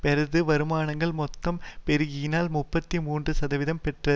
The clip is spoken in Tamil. பெற்றது வருமானங்கள் மொத்தம் பெருகியதில் முப்பத்தி மூன்று சதவீதம் பெற்ற